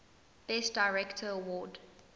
best director award